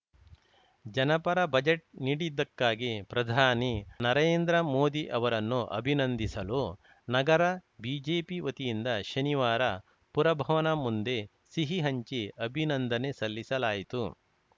ಜನಪರ ಬಜೆಟ್‌ ನೀಡಿದಕ್ಕಾಗಿ ಪ್ರಧಾನಿ ನರೇಂದ್ರ ಮೋದಿ ಅವರನ್ನು ಅಭಿನಂದಿಸಲು ನಗರ ಬಿಜೆಪಿ ವತಿಯಿಂದ ಶನಿವಾರ ಪುರಭವನ ಮುಂದೆ ಸಿಹಿ ಹಂಚಿ ಅಭಿನಂದನೆ ಸಲ್ಲಿಸಲಾಯಿತು